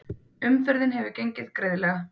Umferðin hefur gengið greiðlega